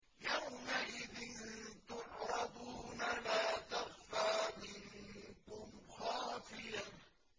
يَوْمَئِذٍ تُعْرَضُونَ لَا تَخْفَىٰ مِنكُمْ خَافِيَةٌ